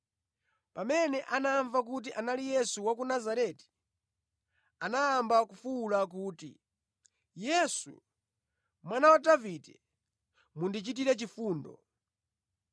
Pamene anamva kuti anali Yesu wa ku Nazareti, anayamba kufuwula kuti, “Yesu, Mwana wa Davide, mundichitire chifundo!”